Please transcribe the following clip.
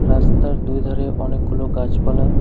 রাস্তার দুই ধারে অনেকগুলো গাছপালা।